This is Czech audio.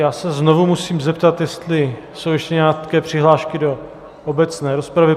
Já se znovu musím zeptat, jestli jsou ještě nějaké přihlášky do obecné rozpravy.